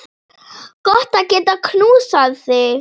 Gott að geta knúsað þig.